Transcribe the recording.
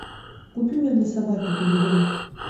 купи мне для собаки педигри